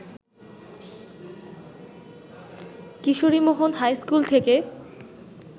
Kishorimohan high school থেকে